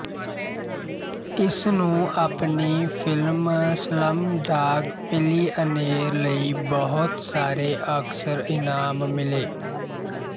ਇਸਨੂੰ ਆਪਣੀ film Slumdog Millionaire ਲਈ ਬਹੁਤ ਸਾਰੇ ਆਸਕਰ ਇਨਾਮ ਮਿਲੇ